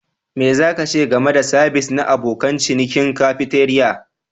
Me za ka ce game da sabis na abokan cinikin cafeteria?